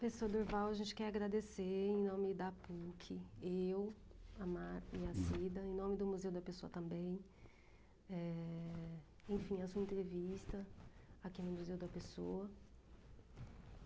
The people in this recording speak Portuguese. Professor Durval, a gente quer agradecer em nome da Puc, eu, a Mar e a Cida, em nome do Museu da Pessoa também, eh... enfim, a sua entrevista aqui no Museu da Pessoa.